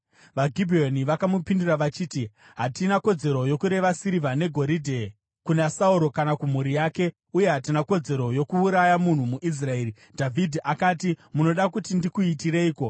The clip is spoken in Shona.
VaGibheoni vakamupindura vachiti, “Hatina kodzero yokureva sirivha negoridhe kuna Sauro kana kumhuri yake, uye hatina kodzero yokuuraya munhu muIsraeri.” Dhavhidhi akati, “Munoda kuti ndikuitireiko?”